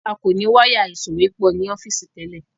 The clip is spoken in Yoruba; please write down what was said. a kọ ní Wáyà ìsòwépọ̀ ní ọ́fíìsì tẹlẹ